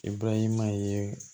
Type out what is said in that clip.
Ibarahima ye